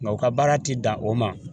Nka u ka baara ti dan o ma